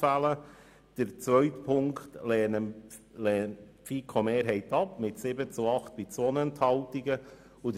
Ziffer 2 lehnt die FiKo-Mehrheit mit 7 zu 8 Stimmen bei 2 Enthaltungen ab.